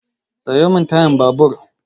Sayo min tayan babur!